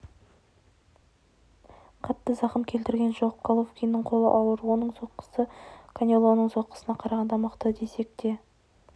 қатты зақым келтірген жоқ головкиннің қолы ауыр оның соққысы канелоның соққысына қарағанда мықты десек те